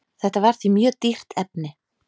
Þetta var því mjög dýrt efni.